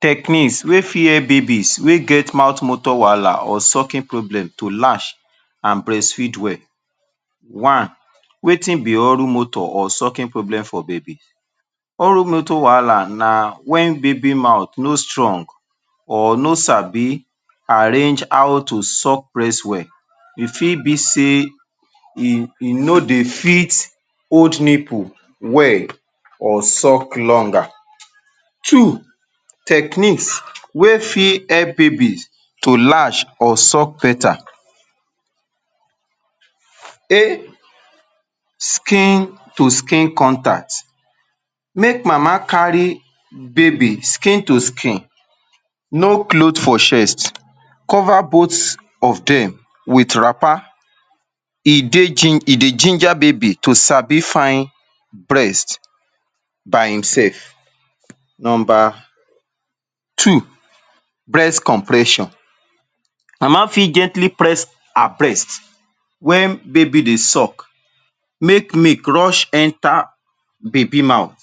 Techniques wey fit help babies wey get mouth-motor wahala or sucking problem to latch an breastfeed well. One, wetin be oral-motor or sucking problem for baby? Oral-motor wahala na wen baby mouth no strong or no sabi arrange how to suck breast well. E fit be sey e e no dey fit hold nipple well or suck longer Two, techniques wey fit help babies to latch or suck beta. a. Skin to skin contact: Make mama carry baby skin to skin, no cloth for chest, cover both of dem with wrapper, e dey ginger baby to sabi find breast by himself. Nomba two, breast compression: Mama fit gently press her breast wen baby dey suck make milk rush enter baby mouth.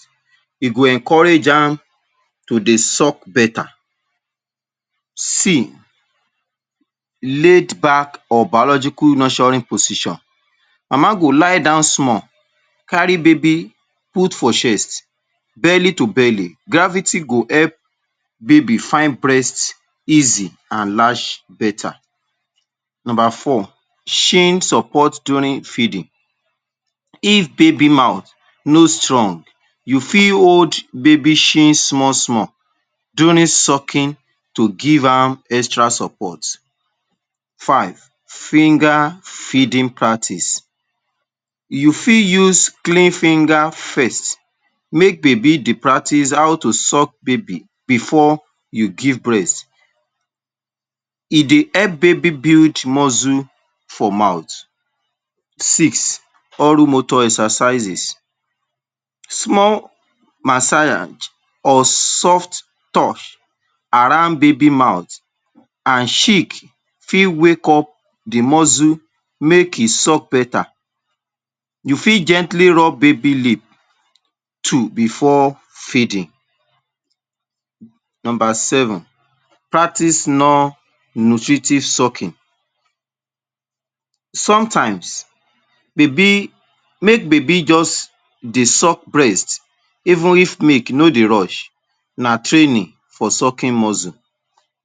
E go encourage am to dey suck beta. c. Laid back or biological nurturing position: Mama go lie down small, carry baby put for chest, belly to belly. Gravity go help baby find breast easy an latch beta. Nomba four, chin support during feeding: If baby mouth no strong, you fit hold baby chin small-small during sucking to give am extra support. Five, finger feeding practice: You fit use clean finger first make baby dey practise how to suck baby before you give breast. E dey help baby build muscle for mouth. Six, oral-motor exercises: Small massage or soft touch around baby mouth an cheek fit wake up the muscle make e suck beta. You fit gently rub baby lip too before feeding. Nomba seven, practice non-nutritive sucking: Sometimes, baby, make baby juz dey suck breast even if milk no dey rush. Na training for sucking muscle.